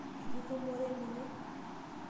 Etu itumore ninye?